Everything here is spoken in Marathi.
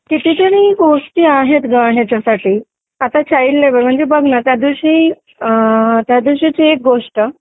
कितीतरी गोष्टी आहेत ग याच्यासाठी आता चाइल्ड लेबर म्हणजे बघ ना त्यादिवशी अ.. त्या दिवशीची एक गोष्ट